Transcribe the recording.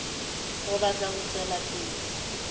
re batla ho tswela pele